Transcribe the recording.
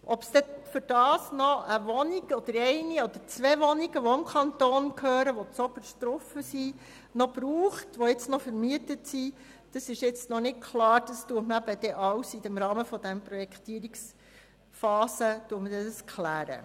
Ob es dafür im obersten Stock noch eine oder zwei Wohnungen, die auch dem Kanton gehören und derzeit vermietet sind, zusätzlich brauchen wird, ist jetzt noch nicht klar und wird während der Projektierungsphase geklärt.